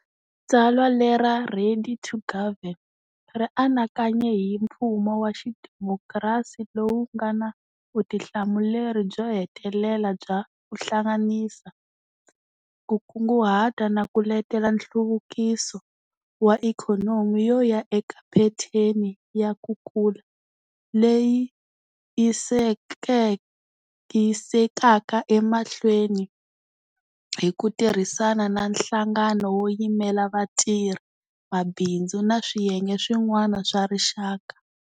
Tsalwa lera 'Ready to Govern' ri anakanye hi mfumo wa xidemokirasi lowu nga na vutihlamuleri byo hetelela bya 'ku hlanganisa, ku kunguhata na ku letela nhluvukiso wa ikhonomi yo ya eka phetheni ya ku kula leyi yisekaka emahlweni' hi ku tirhisana na nhlangano wo yimela vatirhi, mabindzu na swiyenge swin'wana swa rixaka.